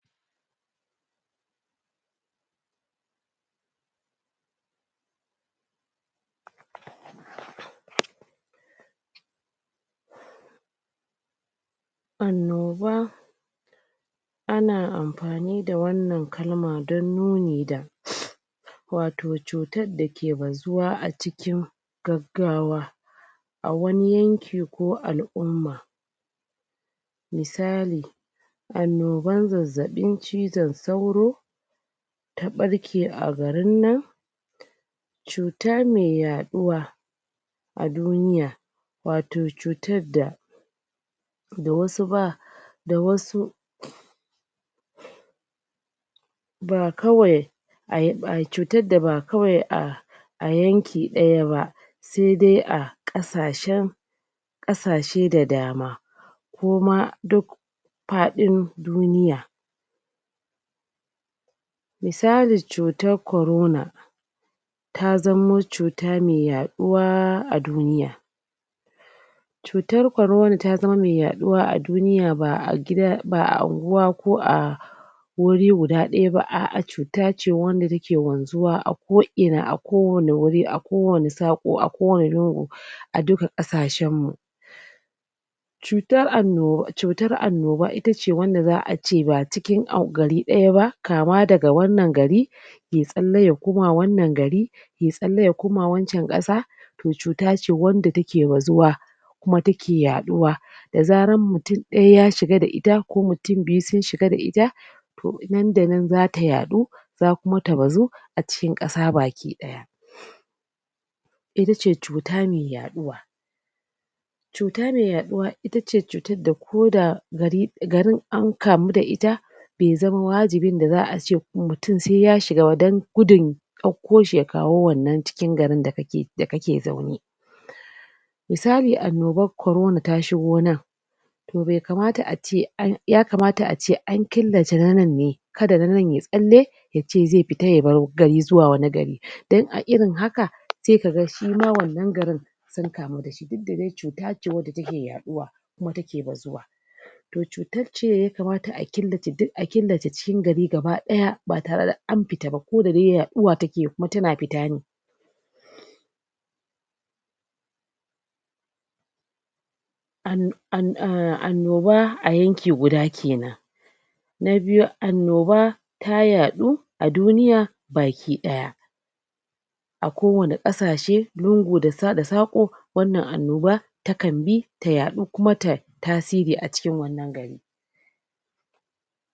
Annoba ana amfani da wannan kalma dan nuni da wato cutar da ke bazuwa a cikin gaggawa a wani yanki ko al'umma misali annoban zazzaɓin cizon sauro ta ɓarke a garin nan cuta me yaɗuwa a duniya wato cutar da da wasu ba, da wasu ba kawai, ai cutar da ba kawai a a yanki ɗaya ba se de a ƙasashen ƙasashe da dama ko ma duk faɗin duniya misali, cutar corona ta zamo cuta me yaɗuwa a duniya cutar corona ta zama me yaɗuwa a duniya ba'a gida, ba'a unguwa ko a wuri guda ɗaya ba, a'a cuta ce wanda take wanzuwa a ko'ina, a kowani wuri, a kowani saƙo, a kowani lungu, a duka ƙasashen mu cutar annoba ita ce wanda za'a ce ba cikin gari ɗaya ba kama daga wannan gari yai tsalle ya koma wannan gari, yai tsalle ya koma wancan ƙasa to cuta ce wanda take bazuwa kuma take yaɗuwa da zaran mutun ɗaya ya shiga da ita, ko mutun biyu sun shiga da ita to nan da nan zata yaɗu za kuma ta bazu a cikin ƙasa bakiɗaya ita ce cuta me yaɗuwa cuta me yaɗuwa ita ce cutar da ko da garin an kamu da ita be zama wajibin da za'a ce mutun se ya shiga ba dan gudun ɗauko shi ya kawo wannan cikin garin da kake da kake zaune misali annoban corona ta shigo nan to be kamata a ce yakamata a ce an killace na nan ne, kada na nan yayi tsalle yace zai fita ya bar gari zuwa wani gari dan a irin haka sai kaga shi ma wannan garin sun kamu da shi, duk da dai cuta ce wanda take yaɗuwa, kuma take bazuwa to cutar ce yakamata a killace duk, a killace duk cikin gari gabaɗaya ba tare da an fita ba koda dai yaɗuwa take yi, kuma tana fita ne an an annoba a yanki guda kenan na biyu annoba ta yaɗu a duniya bakiɗaya a kowane ƙasashe lungu da saƙo wannan annoba takan bi ta yaɗu kuma ta tasiri a cikin wannan gari